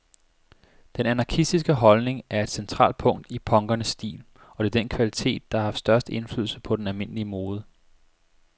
Den anarkistiske holdning er et centralt punkt i punkernes stil, og det er den kvalitet, der har haft størst indflydelse på den almindelige mode.